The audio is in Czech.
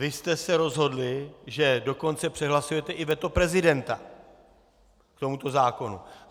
Vy jste se rozhodli, že dokonce přehlasujete i veto prezidenta k tomuto zákonu.